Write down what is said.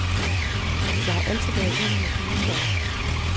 Jeg har altid været vild med gysere.